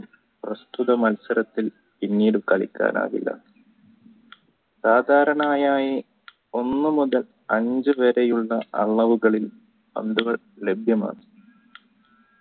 പ്രസ്‌തുത മത്സരത്തിൽ പിന്നെ കളിക്കാനാവില്ല സാധാരണയായി ഒന്നുമുതൽ അഞ്ചു വരെയുള്ള അളവുകളിൽ പന്തുകൾ ലഭ്യമാണ്